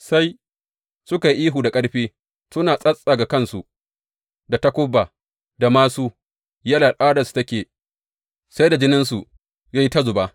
Sai suka yi ta ihu da ƙarfi suna tsattsaga kansu da takuba da māsu, yadda al’adarsu take, sai da jininsu ya yi ta zuba.